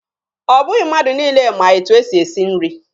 Ọ bụghị mmadụ niile ma etu e si esi nri.